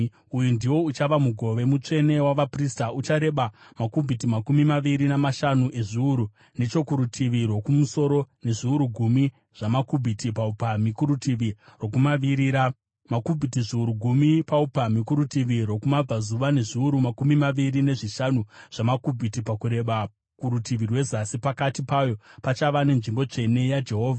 Uyu ndiwo uchava mugove mutsvene wavaprista. Uchareba makubhiti makumi maviri namashanu ezviuru nechokurutivi rwokumusoro, nezviuru gumi zvamakubhiti paupamhi kurutivi rwokumavirira, makubhiti zviuru gumi paupamhi kurutivi rwokumabvazuva nezviuru makumi maviri nezvishanu zvamakubhiti pakureba kurutivi rwezasi. Pakati payo pachava nenzvimbo tsvene yaJehovha.